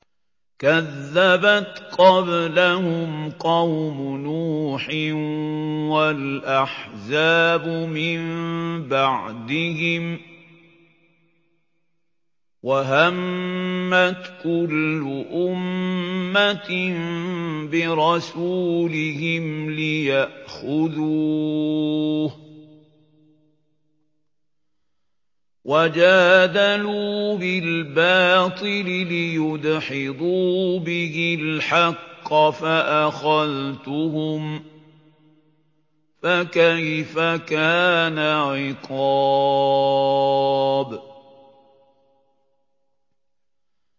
كَذَّبَتْ قَبْلَهُمْ قَوْمُ نُوحٍ وَالْأَحْزَابُ مِن بَعْدِهِمْ ۖ وَهَمَّتْ كُلُّ أُمَّةٍ بِرَسُولِهِمْ لِيَأْخُذُوهُ ۖ وَجَادَلُوا بِالْبَاطِلِ لِيُدْحِضُوا بِهِ الْحَقَّ فَأَخَذْتُهُمْ ۖ فَكَيْفَ كَانَ عِقَابِ